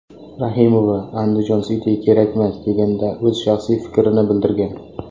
Rahimova Andijon City kerakmas, deganda o‘z shaxsiy fikrini bildirgan.